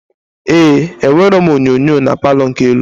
Ee, enwerọ m onyinyo na Palọ nke elu